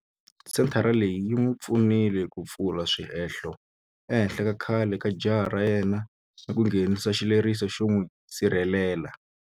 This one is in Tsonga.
Senthara leyi yi n'wi pfunile ku pfula swihehlo ehenhla ka khale ka jaha ra yena ni ku nghenisa xileriso xo n'wi sirhelela.